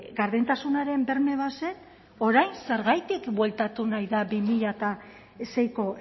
gardentasunaren berme bazen orain zergatik bueltatu nahi da bi mila seiko